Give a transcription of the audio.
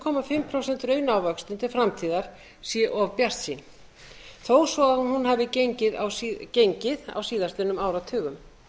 og hálft prósent raunávöxtun til framtíðar sé of bjartsýn þó svo að hún hafi gengið á síðastliðnum áratugum